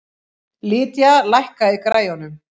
Lydia, lækkaðu í græjunum.